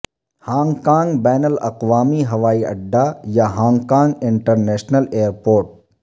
Hong Kong بین الاقوامی ہوائی اڈا یا ہانگ کانگ انٹرنیشنل ایئرپورٹ